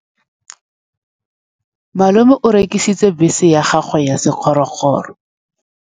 Malome o rekisitse bese ya gagwe ya sekgorokgoro.